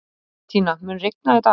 Bentína, mun rigna í dag?